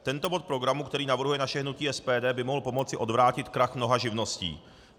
Tento bod programu, který navrhuje naše hnutí SPD, by mohl pomoci odvrátit krach mnoha živností.